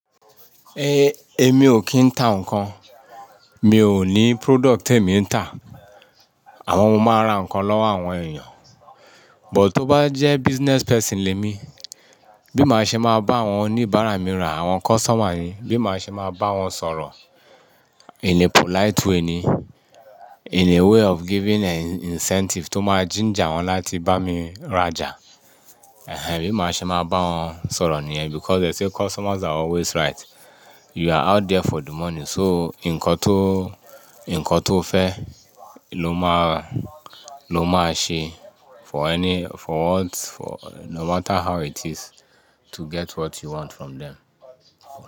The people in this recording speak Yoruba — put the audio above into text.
Èmi ò kí ń ta ǹkan. Mi ò ní product tèmi ń tà. Àmọ́ mo máa ń ra ǹkan lọ́wọ́ àwọn èèyàn. But tó bá jẹ́ business person lèmi, bí màá ṣe máa bá àwọn oníbàárà mí ra, àwọn customer mi, bí màá ṣe máa bá wọn sọ̀rọ̀ in a polite way ni, in a way of giving an incentive tó máa ginger wọn láti bá mi rajà. Ehen, bí màá ṣe máa bá wọn sọ̀rọ̀ nìyẹn because they say customers are always right. You are out there for the money, so ǹkan tó, ǹkan tó fẹ́ ló máa, ló máa ṣe for any, for what, for no matter how it is to get what you want from them.